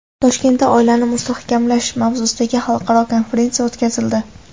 Toshkentda oilani mustahkamlash mavzusidagi xalqaro konferensiya o‘tkazildi.